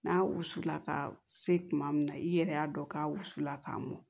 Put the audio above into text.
N'a wusula ka se kuma min na i yɛrɛ y'a dɔn k'a wusula ka mɔn